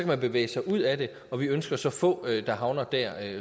man bevæge sig ud af det og vi ønsker så få der havner der